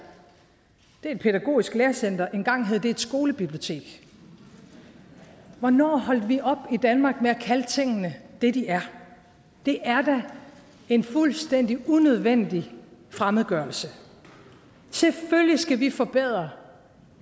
et pædagogisk læringscenter engang hed det et skolebibliotek hvornår holdt vi i danmark op med at kalde tingene det de er det er da en fuldstændig unødvendig fremmedgørelse selvfølgelig skal vi forbedre